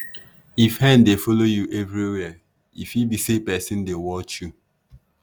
if hen dey follow you everywhere e fit be say person dey watch you.